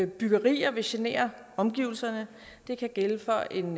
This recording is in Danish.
byggerier vil genere omgivelserne det kan gælde for en